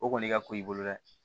O kɔni i ka ko i bolo dɛ